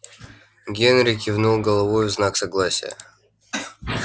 генри кивнул головой в знак согласия